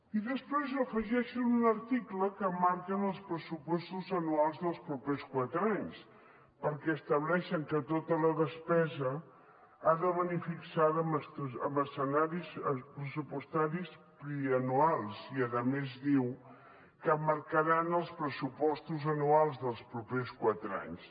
i després afegeixen un article que marquen els pressupostos anuals dels propers quatre anys perquè estableixen que tota la despesa ha de venir fixada amb escenaris pressupostaris pluriennals i a més diu que marcaran els pressupostos anuals dels propers quatre anys